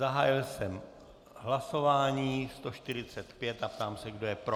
Zahájil jsem hlasování 145 a ptám se, kdo je pro.